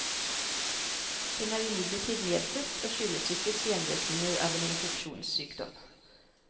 Den er imidlertid medfødt og skyldes ikke senvirkninger av en infeksjonssykdom.